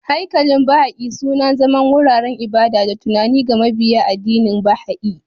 Haikalin Baha'i, suna zama wuraren ibada da tunani ga mabiya addinin Baha'i.